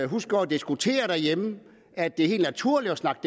husker at diskutere derhjemme at det er helt naturligt at snakke